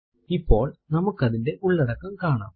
ഇപ്പോൾ നമുക്ക് അതിന്റെ ഉള്ളടക്കം കാണാം